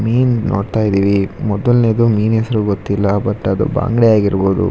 ಮೀನ್ ನೋಡ್ತಾ ಇದ್ದಿವಿ ಫೋಟೋ ದಲ್ಲಿರುವ ಮೀನ್ ಎಷ್ಟೋ ಗೊತ್ತಿಲ್ಲ.